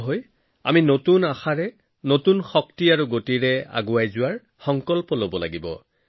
ভাৰত পঞ্চম বৃহত্তম অৰ্থনৈতিক শক্তি হিচাপে পৰিগণিত হোৱাৰ লগে লগে বহু লোকে আনন্দ প্ৰকাশ কৰি চিঠি লিখিছিল